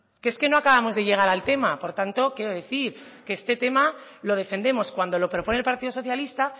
que es que no acabamos de llegar al tema por tanto quiero decir que este tema lo defendemos cuando lo propone el partido socialista